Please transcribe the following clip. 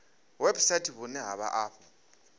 website vhune ha vha afho